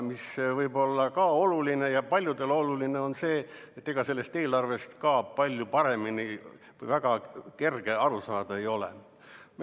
Võib-olla on ka oluline ja paljudele oluline see, et ega sellest eelarvest väga kerge aru saada ei ole.